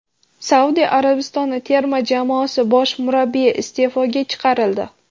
Saudiya Arabistoni terma jamoasi bosh murabbiyi iste’foga chiqarildi.